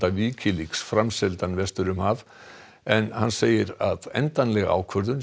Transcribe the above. Wikileaks framseldan vestur um haf en segir endanlega ákvörðun